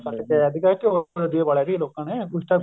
ਕੱਟਕੇ ਆਇਆ ਸੀ ਘਿਓ ਦਾ ਦੀਵਾ ਬਾਲਿਆ ਲੋਕਾਂ ਨੇ ਉਸ time